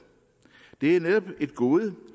det er netop et gode